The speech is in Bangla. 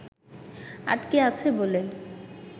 আটকে আছে বলে